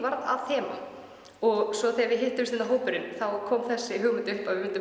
að þema og svo þegar við hittumst öll þá kom þessi hugmynd upp að við myndum